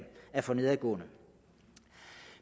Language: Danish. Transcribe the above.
for nedadgående